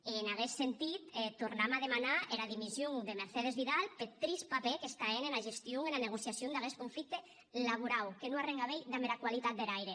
e en aguest sentit tornam a demanar era dimission de mercedes vidal peth trist papèr qu’està hènt ena gestion ena negociacion d’aguest conflicte laborau que non a arren a veir damb era qualitat der aire